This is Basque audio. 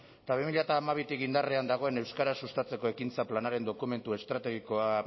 eta bi mila hamabitik indarrean dagoen euskara sustatzeko ekintza planaren dokumentu estrategikoa